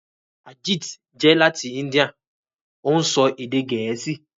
Arjit jẹ lati India; ó ń sọ èdè Gẹ̀ẹ́sì